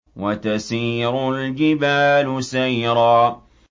وَتَسِيرُ الْجِبَالُ سَيْرًا